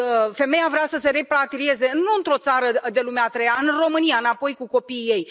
Femeia vrea să se repatrieze, nu într o țară de lumea a treia, în România, înapoi, cu copiii ei.